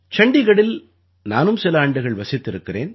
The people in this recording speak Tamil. சண்டீகடில் நானும் சில ஆண்டுகள் வசித்திருக்கிறேன்